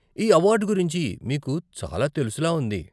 ఈ అవార్డు గురించి మీకు చాలా తెలుసులా ఉంది.